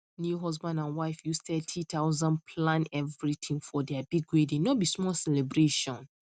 new husband and wife use 30000 plan everything for their big wedding no be small celebration